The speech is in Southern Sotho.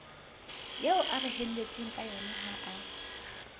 eo a reheletsweng kayona ha